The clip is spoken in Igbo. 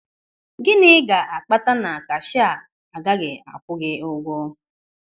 Gịnị ga-akpata na kashịa agaghị akwụ gị ụgwọ?